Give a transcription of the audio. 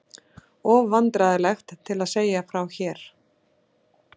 Of vandræðalegt til að segja frá hér.